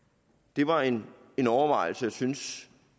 det var en en overvejelse jeg synes